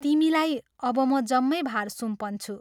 तिमीलाई अब म जम्मै भार सुम्पन्छु।